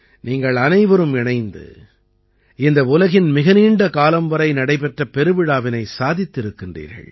நீங்கள் அனைவரும் இணைந்து இந்த உலகின் மிக நீண்ட காலம் வரை நடைபெற்ற பெருவிழாவினை சாதித்திருக்கிறீர்கள்